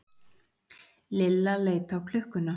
Lilla leit á klukkuna.